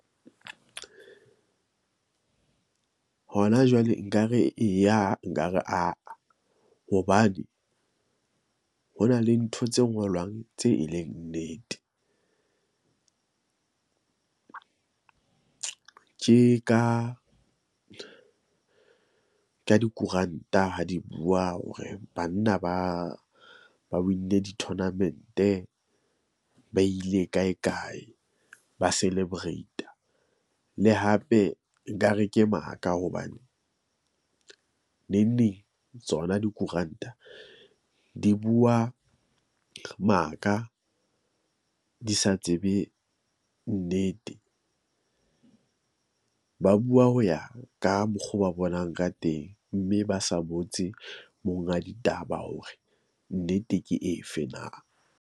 Hona jwale nkare eya nkare aa, hobane ho na le ntho tse ngolwang tse e leng nnete. Ke ka dikoranta ha di bua hore banna ba ba win-nne di-tournament-e. Ba ile kae kae, ba celebrata. Le hape nkare ke maka hobane neng neng tsona dikoranta di bua maka di sa tsebe nnete. Ba bua ho ya ka mokgwa o ba bonang ka teng mme ba sa botse monga ditaba hore nnete ke efe na.